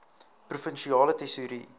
provinsiale tesourie